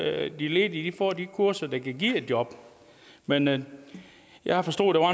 at de ledige får de kurser der kan give et job men men jeg har forstået at